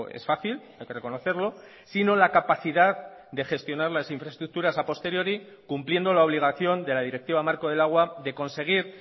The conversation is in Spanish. es fácil hay que reconocerlo sino la capacidad de gestionar las infraestructuras a posteriori cumpliendo la obligación de la directiva marco del agua de conseguir